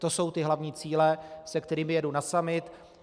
To jsou ty hlavní cíle, se kterými jedu na summit.